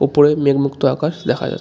ওপরে মেঘমুক্ত আকাশ দেখা যায়।